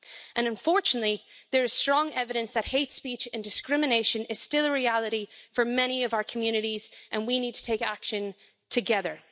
And, unfortunately, there is strong evidence that hate speech and discrimination is still a reality for many of our communities and we need to take action together.